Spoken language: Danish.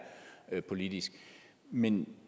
politisk men